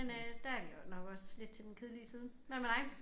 Men øh der er vi også nok også lidt til den kedelige side. Hvad med dig?